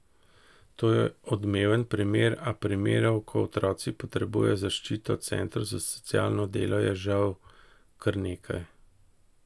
To je odmeven primer, a primerov, ko otroci potrebujejo zaščito centrov za socialno delo, je žal kar nekaj.